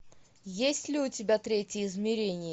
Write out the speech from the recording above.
есть ли у тебя третье измерение